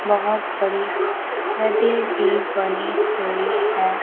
बहुत बड़ी नदी भी बनी हुई है।